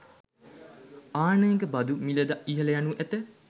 ආනයනික බදු මිල ද ඉහළ යනු ඇත